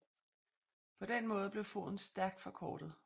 På den måde blev foden stærkt forkortet